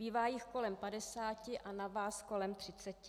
Bývá jich kolem padesáti a na vás kolem třiceti.